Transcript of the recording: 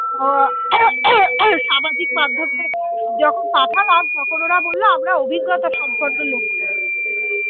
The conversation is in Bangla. যখন পাঠালাম তখন ওরা বলল আমরা অভিজ্ঞতার সম্পন্ন লোক খুঁজছি